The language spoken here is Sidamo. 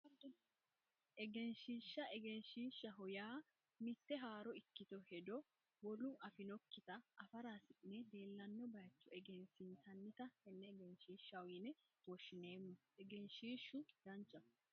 Egenshiishsha egenshiishshaho yaa mitte haaro ikkitino hedo wolu afinokkita afara hasi'ne leellanno baycho egensiinsannita tenne egenshiishshaho yine woshshineemmo egenshiishshu danchaho